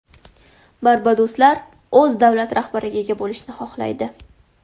Barbadosliklar o‘z davlat rahbariga ega bo‘lishni xohlaydi.